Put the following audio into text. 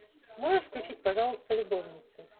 можешь включить пожалуйста любовницы